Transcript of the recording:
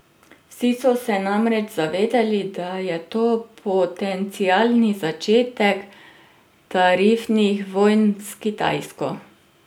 Vsi so se namreč zavedali, da je to potencialni začetek tarifnih vojn s Kitajsko.